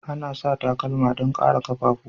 Ana sa takalma don kare kaffafuwa.